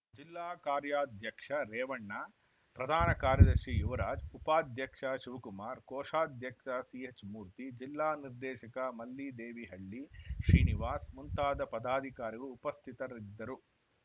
ಜಿಲ್ಲಾ ಕಾರ್ಯಾಧ್ಯಕ್ಷ ರೇವಣ್ಣ ಪ್ರಧಾನ ಕಾರ್ಯದರ್ಶಿ ಯುವರಾಜ್‌ ಉಪಾಧ್ಯಕ್ಷ ಶಿವಕುಮಾರ್‌ ಕೋಶಾಧ್ಯಕ್ಷ ಸಿಎಚ್‌ ಮೂರ್ತಿ ಜಿಲ್ಲಾ ನಿರ್ದೇಶಕ ಮಲ್ಲಿದೇವಿಹಳ್ಳಿ ಶ್ರೀನಿವಾಸ್‌ ಮುಂತಾದ ಪದಾಧಿಕಾರಿಗಳು ಉಪಸ್ಥಿತರಿದ್ದರು